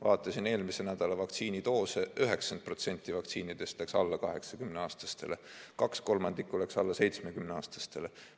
Vaatasin eelmise nädala vaktsiinidoose: 90% vaktsiinidest läks alla 80-aastastele, kaks kolmandikku läks alla 70-aastastele.